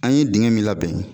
An ye dingɛ min labɛn bɛn.